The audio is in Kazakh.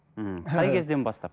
ммм қай кезден бастап